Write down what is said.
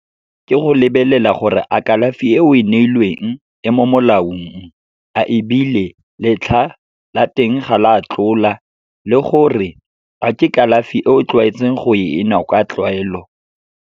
Ke go lebelela gore a kalafi e o e neilweng e mo molaong, a ebile letlha la teng ga la tlola, le gore a ke kalafi e o tlwaetseng go e nwa ka tlwaelo.